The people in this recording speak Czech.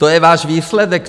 To je váš výsledek.